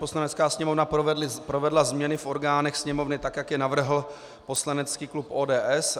Poslanecká sněmovna provedla změny v orgánech Sněmovny tak, jak je navrhl poslanecký klub ODS.